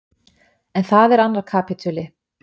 En það er annar kapítuli.